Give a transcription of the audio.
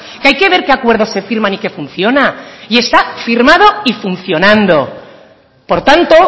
que hay que ver que acuerdos se firman y que funciona y está firmada y funcionando por tanto